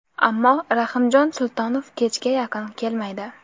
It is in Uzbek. Ammo Rahimjon Sultonov kechga yaqin kelmaydi.